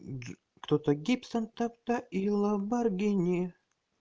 кто-то гибсон тогда и ламборгини